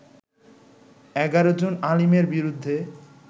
১১ June আলীমের বিরুদ্ধে